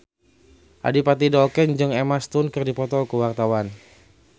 Adipati Dolken jeung Emma Stone keur dipoto ku wartawan